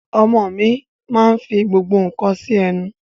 Ọmọ mi máa nfi gbogbo nka si ẹnu